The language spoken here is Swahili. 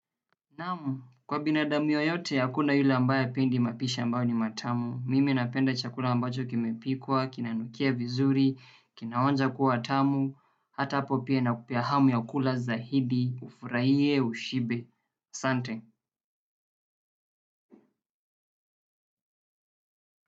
Naam, kwa binadamu yeyote hakuna yule ambaye hapendi mapishi ambayo ni matamu. Mimi napenda chakula ambacho kimepikwa, kinanukia vizuri, kinaonja kuwa tamu, hata hapo pia inakupea hamu ya kula zaidi, ufurahie, ushibe. Sante.